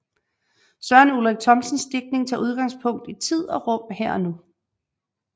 Søren Ulrik Thomsens digtning tager udgangspunkt i tid og rum her og nu